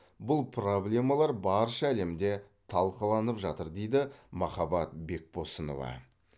бұл проблемалар барша әлемде талқыланып жатыр дейді махаббат бекбосынова